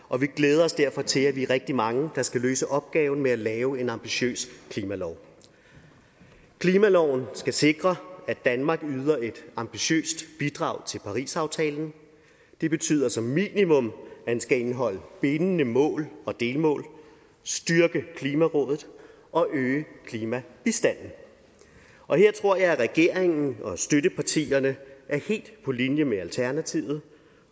og vi glæder os derfor til at vi er rigtig mange der skal løse opgaven med at lave en ambitiøs klimalov klimaloven skal sikre at danmark yder et ambitiøst bidrag til parisaftalen og det betyder som minimum at den skal indeholde bindende mål og delmål styrke klimarådet og øge klimabistanden og her tror jeg at regeringen og støttepartierne er helt på linje med alternativet